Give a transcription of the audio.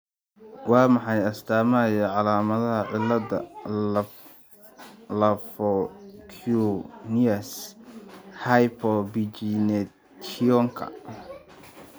Waa maxay astamaha iyo calaamadaha cilada lafo-cutaneous hypopigmentationka?